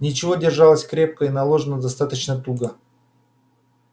ничего держалась крепко и наложена достаточно туго